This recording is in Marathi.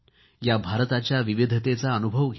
या भारताच्या विविधतेचा अनुभव घ्या